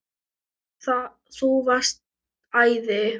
Þú varst æði.